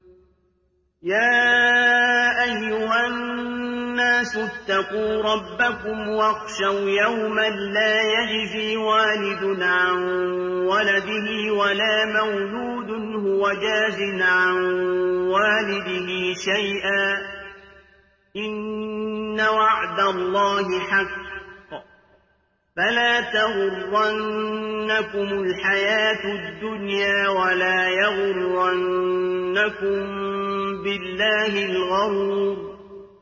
يَا أَيُّهَا النَّاسُ اتَّقُوا رَبَّكُمْ وَاخْشَوْا يَوْمًا لَّا يَجْزِي وَالِدٌ عَن وَلَدِهِ وَلَا مَوْلُودٌ هُوَ جَازٍ عَن وَالِدِهِ شَيْئًا ۚ إِنَّ وَعْدَ اللَّهِ حَقٌّ ۖ فَلَا تَغُرَّنَّكُمُ الْحَيَاةُ الدُّنْيَا وَلَا يَغُرَّنَّكُم بِاللَّهِ الْغَرُورُ